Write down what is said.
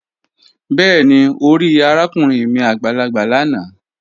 Bẹẹni, o ri arakunrin mi agbalagba lana